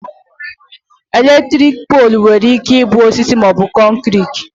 Elektriki poolu nwere ike ịbụ osisi maọbụ kọnkriti